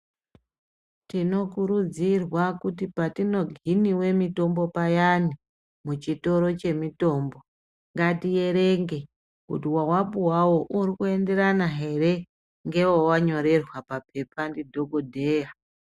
Tinokurudzirwa kuti patinohiniwe mitombo payani muchitoro chemitombo ngatierenge kuti wawapuwawo urikuenderana here ngewewanyorerwa papepa ndidhokodheya.